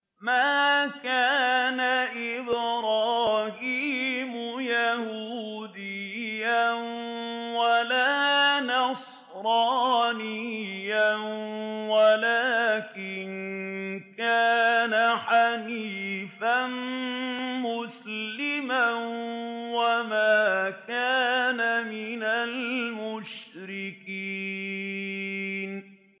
مَا كَانَ إِبْرَاهِيمُ يَهُودِيًّا وَلَا نَصْرَانِيًّا وَلَٰكِن كَانَ حَنِيفًا مُّسْلِمًا وَمَا كَانَ مِنَ الْمُشْرِكِينَ